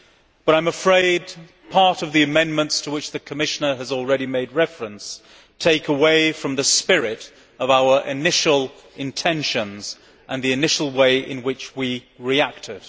But I am afraid some of the amendments to which the Commission has already made reference take away from the spirit of our initial intentions and the initial way in which we reacted.